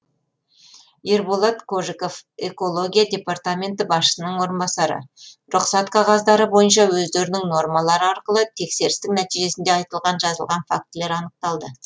ерболат кожиков экология департаменті басшысының орынбасары рұқсат қағаздары бойынша өздерінің нормалары арқылы тексерістің нәтижесінде айтылған жазылған фактілер анықталды